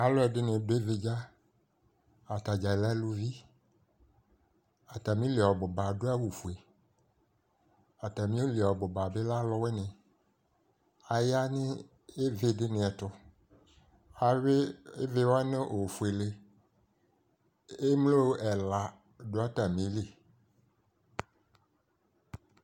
alò ɛdini do ividza atadza lɛ aluvi atamili ɔbu ba adu awu fue atamili ɔbu ba bi lɛ aluwini aya n'ivi di ni ɛto awi ivi wa no ofuele emlo ɛla do atamili